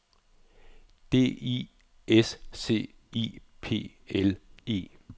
D I S C I P L E